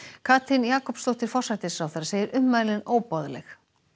Katrín Jakobsdóttir forsætisráðherra segir ummælin óboðleg